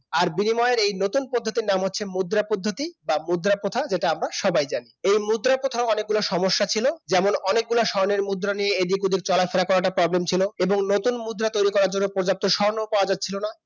আর বিনিময়ের এই নতুন পদ্ধতির নাম হচ্ছে মুদ্রা পদ্ধতি বা মুদ্রা প্রথা যেটা আমরা সবাই জানি এই মুদ্রা প্রথার অনেক গুলা সমস্যা ছিল যেমন অনেকগুলি স্বর্ণের মুদ্রা নিয়ে এদিক ওদিক চলাফেরা করা টা problem ছিল এবং নতুন মুদ্রা তৈরি করার জন্য পর্যাপ্ত স্বর্ণ পাওয়া যাচ্ছিল না